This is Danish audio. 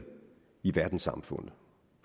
i verdenssamfundet